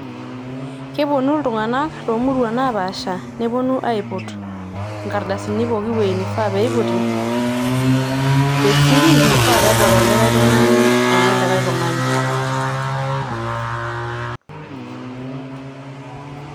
Keponu iltunganak tomuruan naapaasha neponu aiput inkardasini pooki wuei nifaa peiputi te siri meifa pedol oltungani enolikae tungani